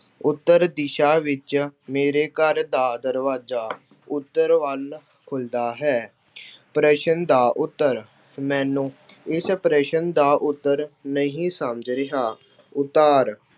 ਉੱਤਰ ਦਿਸ਼ਾ ਵਿੱਚ ਮੇਰੇ ਘਰ ਦਾ ਦਰਵਾਜ਼ਾ ਉੱਤਰ ਵੱਲ ਖੁੱਲ੍ਹਦਾ ਹੈ। ਪ੍ਰਸ਼ਨ ਦਾ ਉੱਤਰ, ਮੈਨੂੰ ਇਸ ਪ੍ਰਸ਼ਨ ਦਾ ਉੱਤਰ ਨਹੀਂ ਸਮਝ ਰਿਹਾ। ਉਤਾਰ